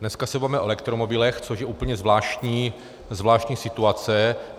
Dneska se bavíme o elektromobilech, což je úplně zvláštní situace.